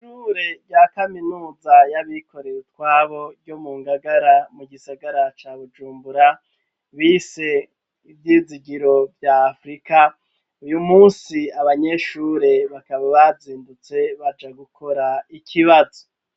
Ishure rya kaminuza y'abikorera utwabo ryo mu ngagara mu gisagara ca Bujumbura bise ivyizigiro vya afurika, uyu munsi abanyeshure bakaba bazindutse baja gukora ikibazo.